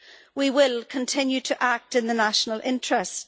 We will continue to act in the national interest.